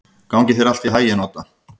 Gangi þér allt í haginn, Odda.